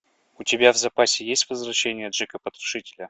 у тебя в запасе есть возвращение джека потрошителя